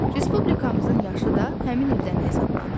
Respublikamızın yaşı da həmin ildən hesablanır.